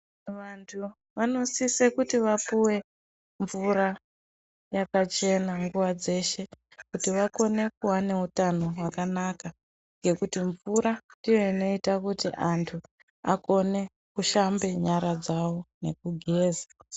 Vantu vanosise kuti vapuwe mvura yakachena nguva dzeshe kuti vakone kuveneutano hwakanaka ngekuti mvura ndiyo inoite kuti vantu vashambe nyara dzavo nekugeza.